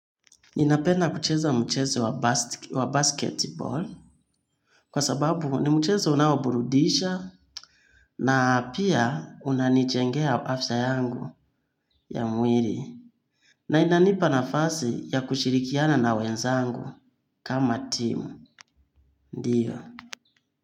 Ninapenda kucheza mchezo wa basketball kwa sababu ni mchezo unawoburudisha na pia unanichengea hafsa yangu ya mwiri na inanipa na fasi ya kushirikiana na wenzangu kama timu, ndiyo.